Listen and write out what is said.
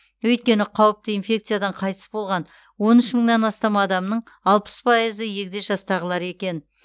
өйткені қауіпті инфекциядан қайтыс болған он үш мыңнан астам адамның алпыс пайызы егде жастағылар екен